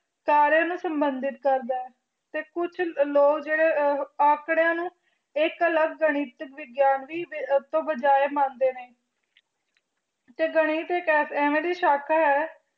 ਕਰ ਸੰਬੰਧਿਤ ਕਰਦਾ ਹੈ ਤੇ ਕੁਛ ਲੋਗ ਅੰਕਾਰਾਯੰ ਨੂੰ ਅਲੱਗ ਗਾਨਿਥ ਮੰਦੇ ਨੇ ਤੇ ਗਾਨਿਥ ਐਵੇ ਦੀ ਸ਼ੌਂਕ ਹੈ